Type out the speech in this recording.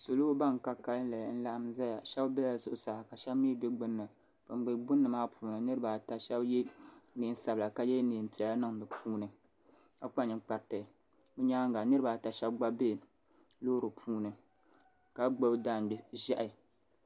Salo bini ka kanli n laɣim zaya shɛba bɛla zuɣusaa ka shɛba mi bɛ gbunni bini bɛ gbunni maa puuni niriba ata shɛba ye nɛɛn sabila ka ye nɛɛn piɛlla niŋ di puuni ka kpa ninkpariti bi yɛanga niriba ata shɛba gba bɛ loori puuni ka gbubi daangbɛ zɛhi.